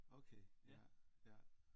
Okay ja ja